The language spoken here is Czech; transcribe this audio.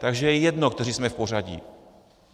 Takže je jedno, kteří jsme v pořadí.